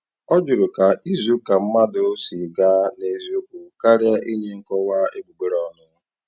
Ọ jụrụ ka izuụka mmadụ si gaa n'eziokwu, karịa inye nkọwa egbugbereọnụ